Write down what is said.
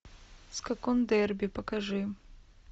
скакун дерби покажи